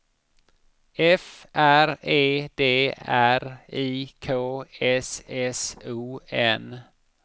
F R E D R I K S S O N